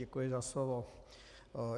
Děkuji za slovo.